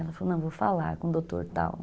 Ela falou, não, vou falar com o doutor tal.